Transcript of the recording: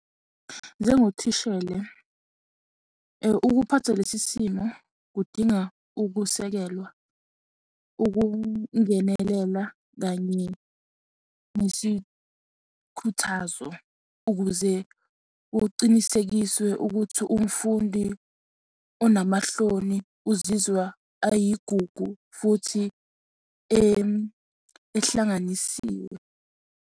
Njengothishela ukuphatha lesi simo kudinga ukusekelwa, ukungenelela kanye nesikhuthazo ukuze kucinisekiswe ukuthi umfundi onamahloni uzizwa ayigugu futhi ehlanganisiwe.